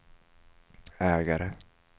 ägare